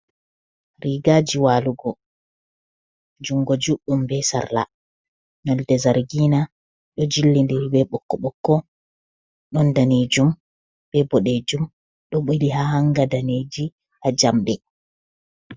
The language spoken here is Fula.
Rigaji walugo, jungo juɗɗum be sarla nolde zargina ɗo jillidiri be ɓokko-ɓokko ɗon danejum be boɗejum, ɗo ɓili ha hanga daneji ha jamɗe.